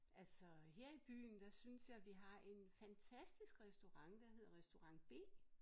Altså her i byen der synes jeg vi har en fantastisk restaurant der hedder restaurant B